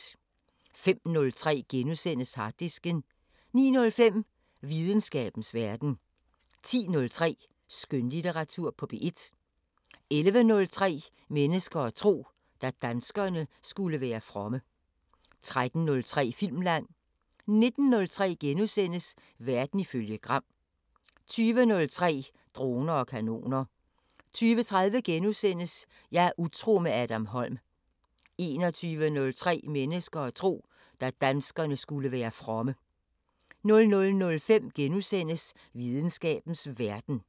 05:03: Harddisken * 09:05: Videnskabens Verden 10:03: Skønlitteratur på P1 11:03: Mennesker og tro: Da danskerne skulle være fromme 13:03: Filmland 19:03: Verden ifølge Gram * 20:03: Droner og kanoner 20:30: Jeg er utro med Adam Holm * 21:03: Mennesker og tro: Da danskerne skulle være fromme 00:05: Videnskabens Verden *